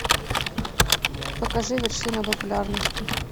покажи вершина популярности